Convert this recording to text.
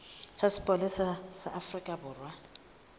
sa sepolesa sa afrika borwa